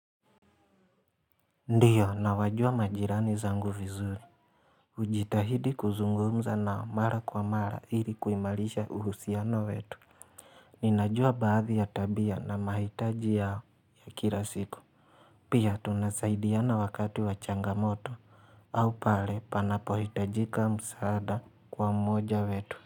Ndiyo nawajua majirani zangu vizuri. Hujitahidi kuzungumza nao mara kwa mara ili kuimarisha uhusiano wetu ninajua baadhi ya tabia na mahitaji yao ya kila siku pia tunasaidiana wakati wa changamoto au pale panapohitajika msaada kwa mmoja wetu.